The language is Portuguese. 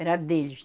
Era deles.